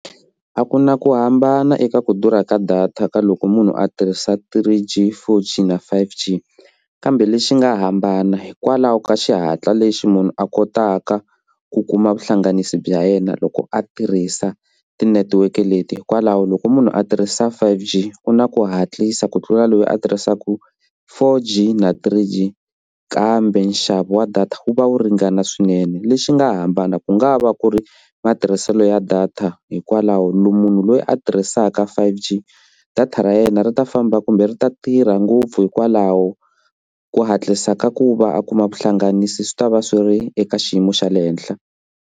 A ku na ku hambana eka ku durha ka data ka loko munhu a tirhisa three g, four g na five g kambe lexi nga hambana hikwalaho ka xihatla lexi munhu a kotaka ku kuma vuhlanganisi bya yena loko a tirhisa tinetiweke leti hikwalaho loko munhu a tirhisa five g ku na ku hatlisa ku tlula loyi a tirhisaka four g na three g kambe nxavo wa data wu va wu ringana swinene. Lexi nga hambana ku nga va ku ri matirhiselo ya data hikwalaho munhu loyi a tirhisaka five g data ra yena ri ta famba kumbe ri ta tirha ngopfu hikwalaho ko hatlisa ka ku va a kuma vuhlanganisi swi ta va swi ri eka xiyimo xa le henhla.